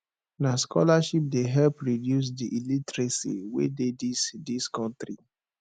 na scholarship dey help reduce di illiteracy wey dey dis dis country